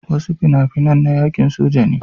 Wasu fina-finan na yaƙin soja ne.